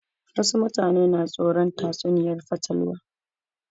Wasu mutane na tsoron tatsuniyar fatalwa